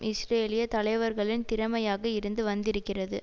இஸ்ரேலிய தலைவர்களின் திறமையாக இருந்து வந்திருக்கிறது